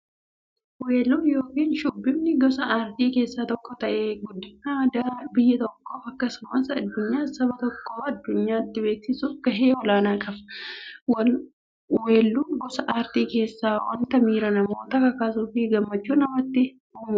Weelluun yookin shubbifni gosa aartii keessaa tokko ta'ee, guddina aadaa biyya tokkoof akkasumas eenyummaa saba tokkoo addunyyaatti beeksisuuf gahee olaanaa qaba. Weelluun gosa artii keessaa wanta miira namootaa kakaasuufi gammachuu namatti uummudha.